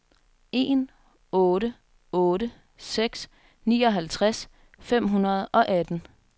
en otte otte seks nioghalvtreds fem hundrede og atten